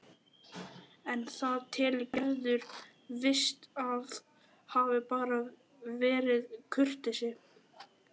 En það telur Gerður víst að hafi bara verið kurteisi.